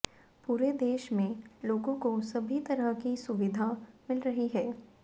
पूरे देश में लोगों को सभी तरह की सुवब्धिा मिल रही है